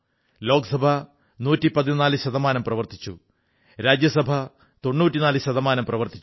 ലോക്സഭ 114 ശതമാനം പ്രവർത്തിച്ചു രാജ്യസഭ 94 ശതമാനം പ്രവർത്തിച്ചു